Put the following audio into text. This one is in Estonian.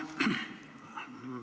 Suur tänu!